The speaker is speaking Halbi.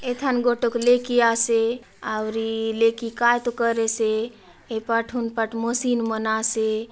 इथाने गोटूक ले कीया से औरी लेखिका तो करे से ए पाटून पटमो मशीन बना से--